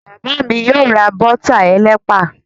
Bàbá mi yóò ra bọ́tà ẹlẹ́pà.